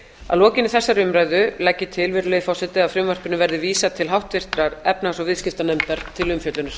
að lokinni þessari umræðu legg ég til virðulegi forseti að frumvarpinu verði vísað til háttvirtrar efnahags og viðskiptanefndar til umfjöllunar